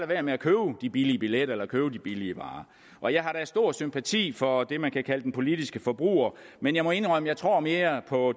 være med at købe de billige billetter eller købe den billige varer og jeg har da stor sympati for det man kan kalde den politiske forbruger men jeg må indrømme jeg tror mere på